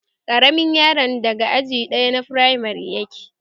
Ƙaramin yaron daga aji ɗaya na firamare yake